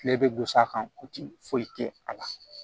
Tile bɛ gosi a kan foyi tɛ a la